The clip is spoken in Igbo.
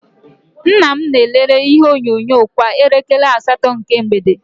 Nnam na- elele ihe onyonyo kwa elekere asatọ nke mgbede.